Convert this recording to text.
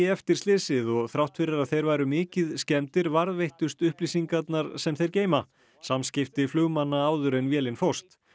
eftir slysið og þrátt fyrir að þeir væru mikið skemmdir varðveittust upplýsingarnar sem þeir geyma samskipti flugmanna áður en vélin fórst